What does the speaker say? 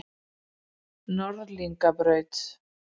Norðlingabraut